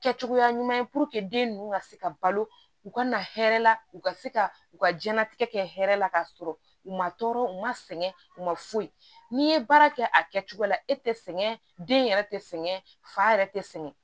Kɛ cogoya ɲuman den ninnu ka se ka balo u ka na hɛrɛ la u ka se ka u ka diɲɛnatigɛ kɛ hɛrɛ la k'a sɔrɔ u ma tɔɔrɔ u ma sɛgɛn u ma foyi n'i ye baara kɛ a kɛcogo la e tɛ sɛgɛn den yɛrɛ tɛ sɛŋɛ fa yɛrɛ tɛ sɛŋɛ